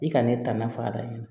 I kana ne tana faa ɲami